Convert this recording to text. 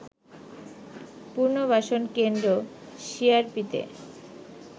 পুনর্বাসন কেন্দ্র সিআরপিতে